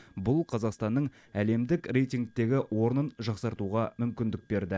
бұл қазақстанның әлемдік рейтингтегі орнын жақсартуға мүмкіндік берді